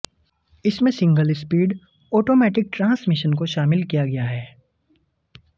इसमें single speed automatic transmission को शामिल किया गया है